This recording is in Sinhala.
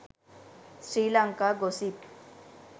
sri lanka gossip